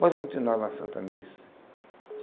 Você Pode continuar na Santa Missa.